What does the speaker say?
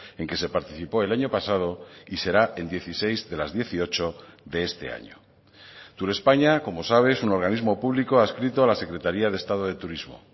en que se participó el año pasado y será en dieciséis de las dieciocho de este año turespaña como sabe es un organismo público adscrito a la secretaria de estado de turismo